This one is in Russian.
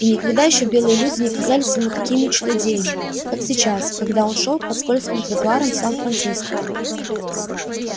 и никогда ещё белые люди не казались ему такими чудодеями как сейчас когда он шёл по скользким тротуарам сан франциско